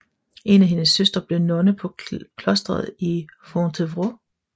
En af hendes søstre blev nonne på klostret i Fontevrault